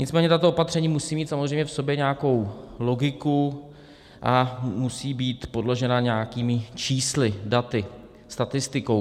Nicméně tato opatření musí mít samozřejmě v sobě nějakou logiku a musí být podložena nějakými čísly, daty, statistikou.